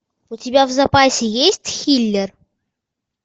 у тебя в запасе есть хиллер